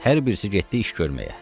Hər birisi getdi iş görməyə.